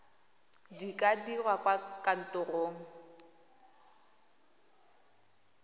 di ka dirwa kwa kantorong